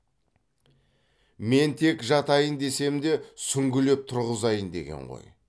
мен тек жатайын десем де сүңгілеп тұрғызайын деген ғой